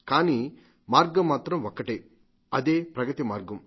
కానీ మార్గం మాత్రం ఒక్కటే అదే ప్రగతిమార్గం